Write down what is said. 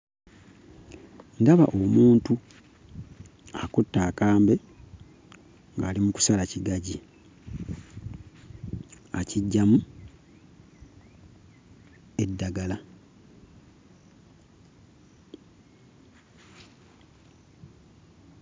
Ndaba omuntu akutte akambe ng'ali mu kusala kigagi akiggyamu eddagala.